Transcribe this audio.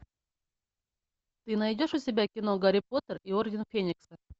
ты найдешь у себя кино гарри поттер и орден феникса